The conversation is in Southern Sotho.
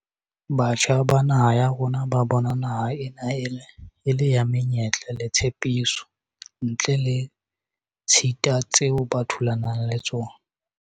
Batjha ba naha ya rona ba bona naha ena e le ya menyetla le tshepiso, ntle le ditshita tseo ba thulanang le tsona.